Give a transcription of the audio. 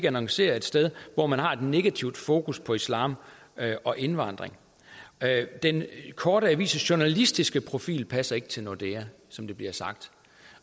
annoncere et sted hvor man har et negativt fokus på islam og indvandring den korte avis journalistiske profil passer ikke til nordea som det bliver sagt